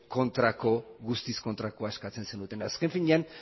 guztiz kontrakoa eskatzen zenutenean azken finean